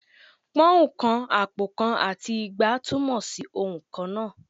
Pọ́ùn kan, àpò kan, àti igba túmọ̀ sí ohùn kan náà